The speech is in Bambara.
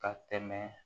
Ka tɛmɛ